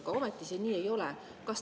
Aga ometi see nii ei ole.